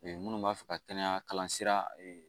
minnu b'a fɛ ka kɛnɛya kalan sira